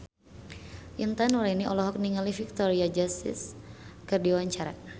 Intan Nuraini olohok ningali Victoria Justice keur diwawancara